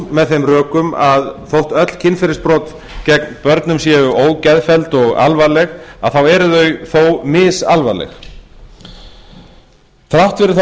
með þeim rökum að þótt öll kynferðisbrot gegn börnum séu ógeðfelld eru þau þó misalvarleg þrátt fyrir þá